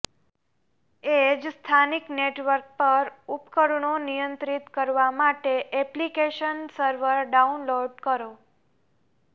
એ જ સ્થાનિક નેટવર્ક પર ઉપકરણો નિયંત્રિત કરવા માટે એપ્લિકેશન સર્વર ડાઉનલોડ કરો